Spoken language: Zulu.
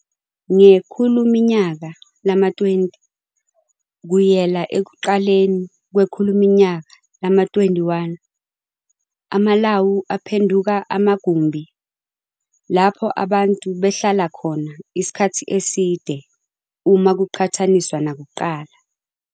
Ngekhuluminyaka lama-20 kuyela ekuqaleni kwekhuluminyaka lama-21, amalawu aphenduka amagumbhi lapho abantu behlala khona isikhathi eside khona uma kuqhathaniswa nakuqala.